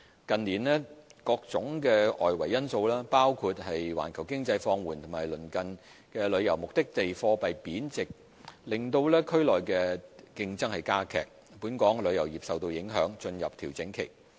近年，各種外圍因素，包括環球經濟放緩和鄰近旅遊目的地貨幣貶值令區內競爭加劇，本港旅遊業受到影響進入調整期。